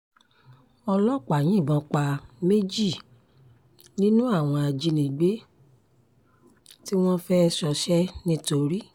ọlọ́pàá yìnbọn pa méjì nínú àwọn ajínigbé tí wọ́n fẹ́ẹ́ ṣọṣẹ́ ńìtorí